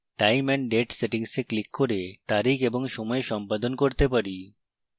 time & date settings we click করে তারিখ এবং সময় সম্পাদন করতে পারি